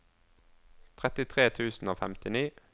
trettitre tusen og femtini